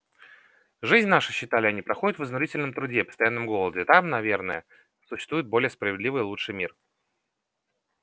жизнь наша считали они проходит в изнурительном труде и постоянном голоде там наверное существует более справедливый лучший мир